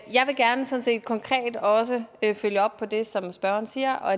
jeg vil gerne sådan set konkret også følge op på det som spørgeren siger og